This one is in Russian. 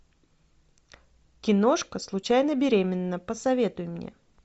киношка случайно беременна посоветуй мне